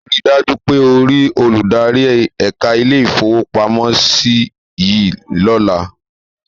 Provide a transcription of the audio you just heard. Ríi dájú pé o rí olùdarí ẹ̀ka ilé-ìfowópamọ́sí yìí lọ́la.